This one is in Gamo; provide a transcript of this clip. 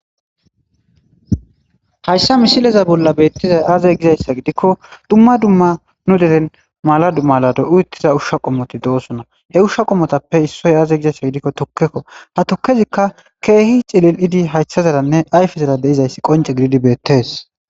Hayssa misileza bolla beettizay aazey gizayssa gidikko dumma dumma nu deren mala dummalado7uuttiza ushsha qommoti doosona he ushsha qommotappe issoy aaze gizayssa gidikko tukkekko ha tukkezikka keehi cilil7idi haysha zaranne ayfezara deizayssi qonce gididi beettes.